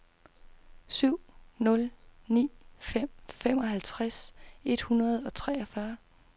syv nul ni fem femoghalvtreds et hundrede og treogfyrre